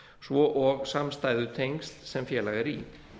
svo og samstæðutengsl sem félag er í